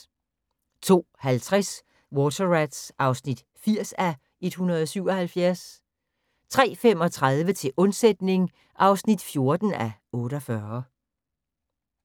02:50: Water Rats (80:177) 03:35: Til undsætning (14:48)